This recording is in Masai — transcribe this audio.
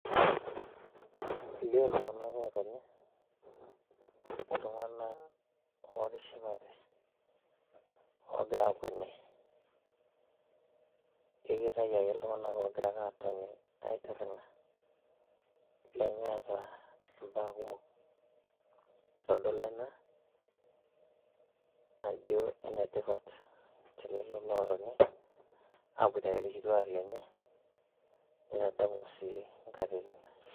Elio iltung`anak ootoni i`ltung`anak ootishipate oogira aakweni keitayu ake iltung`anak oogira ake atoni aitirring`a nemeeta mbaa kumok, eitodolu ena ajo enetipat te lelo lootoni aaboitare ilkituak lenye nitadamu sii nkatitin.